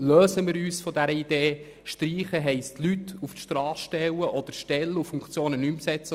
Lösen wir uns von der Idee, dass eine Reduktion des Stellenetats bedeutet, Leute zu entlassen oder Stellen nicht mehr zu besetzen.